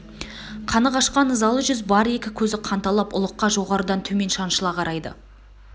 қаны қашқан ызалы жүз бар екі көзі қанталап ұлыққа жоғарыдан төмен шаншыла қарайды